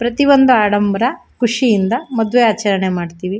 ಪ್ರತಿಒಂದು ಆಡಂಬರ ಖುಷಿಯಿಂದ ಮದ್ವೆ ಆಚರಣೆ ಮಾಡತ್ತಿವಿ.